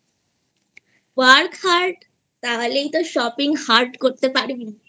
work hard তাহলে তো Shopping Hard করতে পারবিI